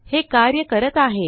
हे कार्य करत आहे